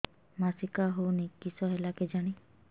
ମାସିକା ହଉନି କିଶ ହେଲା କେଜାଣି